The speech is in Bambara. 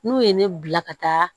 N'u ye ne bila ka taa